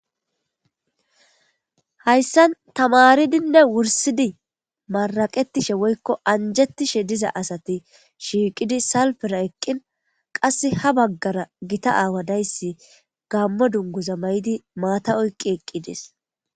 Hayssan tamaridinne wursidi maraqettishe woykko anjettishe diza asati shiiqidi salpera eqqin qass ha baggara gita aawa dayssi gammo dunguza may'idi maata oyqqi eqqides.